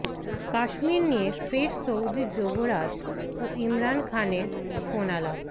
কাশ্মীর নিয়ে ফের সৌদি যুবরাজ ও ইমরান খানের ফোনালাপ